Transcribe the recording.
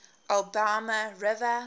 alabama river